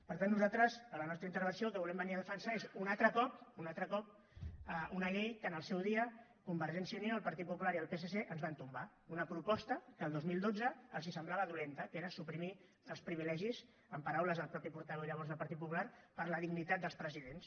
per tant nosaltres a la nostra intervenció el que volem venir a defensar és un altre cop un altre cop una llei que en el seu dia convergència i unió el partit popular i el psc ens van tombar una proposta que el dos mil dotze els semblava dolenta que era suprimir els privilegis en paraules del mateix portaveu llavors del partit popular per la dignitat dels presidents